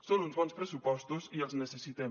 són uns bons pressupostos i els necessitem